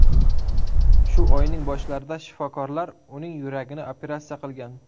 Shu oyning boshlarida shifokorlar uning yuragini operatsiya qilgan.